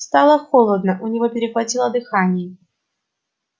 стало холодно у него перехватило дыхание